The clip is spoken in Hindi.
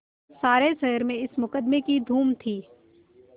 सारे शहर में इस मुकदमें की धूम थी